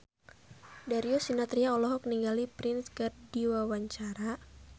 Darius Sinathrya olohok ningali Prince keur diwawancara